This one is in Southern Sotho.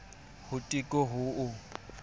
ho teko ho o tl